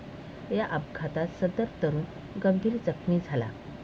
या अपघातात सदर तरुण गंभीर जखमी झाला.